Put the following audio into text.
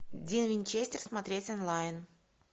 дин винчестер смотреть онлайн